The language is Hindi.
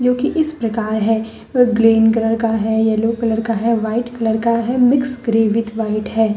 कि इस प्रकार है ग्रीन कलर का है येलो कलर का है वाइट कलर का है मिक्स ग्रे विद व्हाइट है।